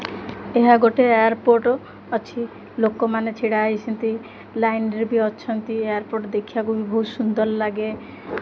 ଏହା ଗୋଟେ ଏୟାରପୋର୍ଟ ଅଛି ଲୋକମାନେ ଛିଡ଼ା ହେଇଛନ୍ତି ଲାଇନ ରେ ବି ଅଛନ୍ତି ଏୟାରପୋର୍ଟ ଦେଖିବାକୁ ବି ବୋହୁତ ସୁନ୍ଦର ଲାଗେ।